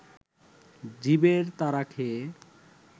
জীবের তাড়া খেয়ে